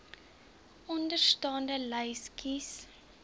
onderstaande lys kies